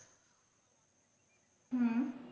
হুম